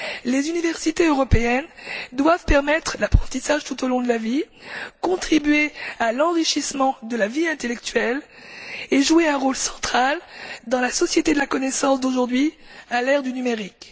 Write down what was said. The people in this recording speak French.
Les universités européennes doivent permettre l'apprentissage tout au long de la vie, contribuer à l'enrichissement de la vie intellectuelle et jouer un rôle central dans la société de la connaissance d'aujourd'hui, à l'ère du numérique.